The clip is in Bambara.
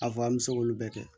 A fɔ an bɛ se k'olu bɛɛ kɛ